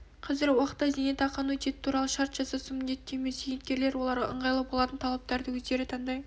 қазіргі уақытта зейнетақы аннуитеті туралы шарт жасасу міндетті емес зейнеткерлер оларға ыңғайлы болатын талаптарды өздері таңдай